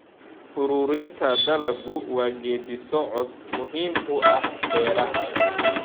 Ururinta dalaggu waa geeddi-socod muhiim u ah beeraha.